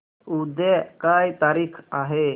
उद्या काय तारीख आहे